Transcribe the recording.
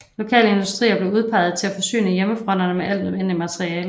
Lokale industrier blev udpeget til at forsyne hjemmefronterne med alt nødvendigt materiale